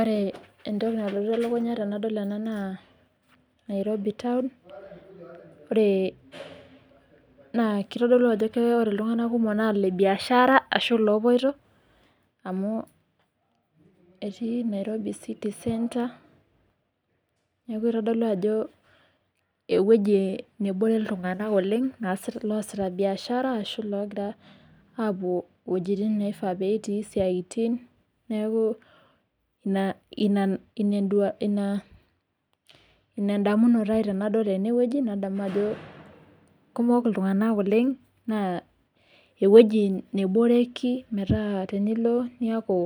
Ore entoki nalotu elukunya tenadol ena naa nairobi town naa ore kitodolu ajo are iltung'ana kumok naa Ile biaashara ashuu iloopoito, amuu etii nairobi city centre, neeku itodolu ajo ewueji nebore iltung'ana oleng loosita biaashara ashuu iloogira aapuo iwuejitin neifaa peetii isaaitin neeku, inaa endamunoto ai tenadol enewueji, nadamu ajo kumok iltung'ana oleng naa ewueji neboreki metaa tenilo, niaku